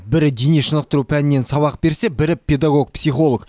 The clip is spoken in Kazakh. бірі дене шынықтыру пәнінен сабақ берсе бірі педагог психолог